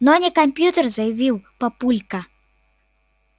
но не компьютер заявил папулька